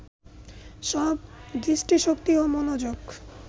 সব দৃষ্টিশক্তি ও মনোযোগ